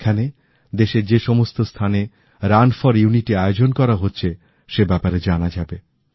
এখানে দেশের যে সমস্ত স্থানে রান ফর ইউনিটি আয়োজন করা হচ্ছে সে ব্যাপারে জানা যাবে